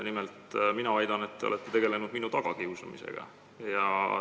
Nimelt väidan ma, et te olete tegelenud minu tagakiusamisega.